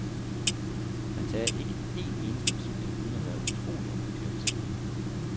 Man tager ikke en eneste beslutning uden at være utrolig omhyggelig og forsigtig.